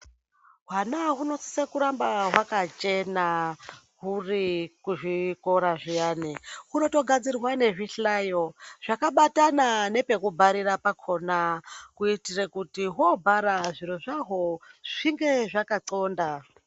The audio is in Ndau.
Hwana hunosise kuramba hwakachena hurikuzvikora zviyani kunotogadzirwa nezvihlayo zvakabatana nepekubharira pakona kuitire kuti hwobhara zviro zvahwo zvinge zvaka qonda.